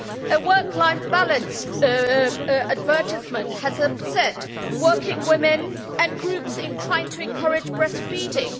A work life balance advertisement has upset working women and groups trying to encourage breastfeeding.